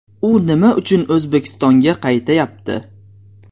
U nima uchun O‘zbekistonga qaytayapti?.